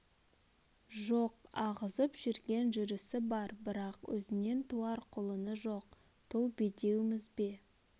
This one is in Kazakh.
жоқ ағызып жүрген жүрісі бар бірақ өзінен туар құлыны жоқ тұл бедеуміз бе